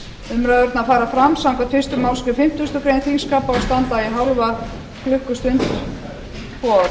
umræðurnar fara fram samkvæmt fyrstu málsgrein fimmtugustu grein þingskapa og